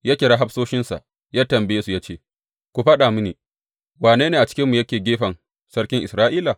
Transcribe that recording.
Ya kira hafsoshinsa ya tambaye su ya ce, Ku faɗa mini, wane ne a cikinmu yake gefen sarkin Isra’ila?